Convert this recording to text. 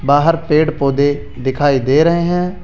बाहर पेड़ पौधे दिखाई दे रहे हैं।